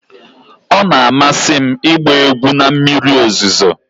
Ọ na-amasị m ịgba egwu na mmiri ozuzo.